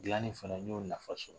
gilanni fana n y'o nafa sɔrɔ.